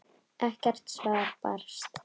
Ekkert svar barst.